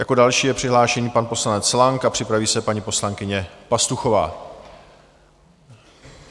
Jako další je přihlášený pan poslanec Lang a připraví se paní poslankyně Pastuchová.